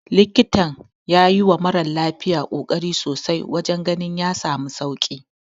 Likitan ya yiwa mara lafiyar kokari sosai wajen ganin ya samu sauki.